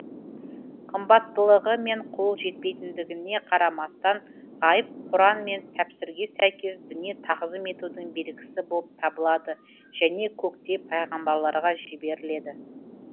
қымбаттылығы мен қол жетпейтіндігіне қарамастан ғайып құран мен тәпсірге сәйкес діни тағзым етудің белгісі болып табылады және көктей пайғамбарларға жіберіледі